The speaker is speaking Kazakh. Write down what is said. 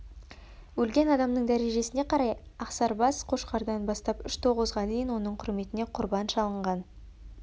өлген адамның дәрежесіне қарай ақсарбас қошқардан бастап үш тоғызға дейін оның құрметіне құрбан шалынған